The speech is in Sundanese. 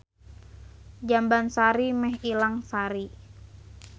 Jambansari meh ilang sari.